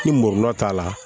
Ni murula t'a la